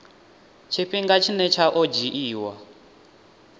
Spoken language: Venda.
tshifhinga tshine tsha o dzhiiwa